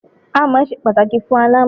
Amọ̀ ṣe pàtàkì fún aláàmọ̀n.